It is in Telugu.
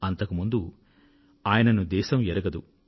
అంతకు ముందు దేశం ఆయనను ఎరుగదు